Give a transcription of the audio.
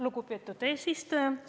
Lugupeetud eesistuja!